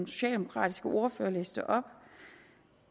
socialdemokratiske ordfører læste op